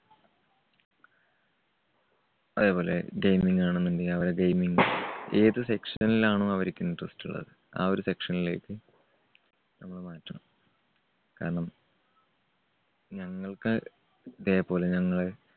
അതേപോലെ gaming ആണെന്നുണ്ടെങ്കിൽ അവരെ gaming ഏത് section ലാണോ അവര്ക്ക് interest ഉള്ളത് ആ ഒരു section ലേക്ക് നമ്മള് മാറ്റണം. കാരണം ഞങ്ങൾക്ക് ഇതേപോലെ ഞങ്ങൾ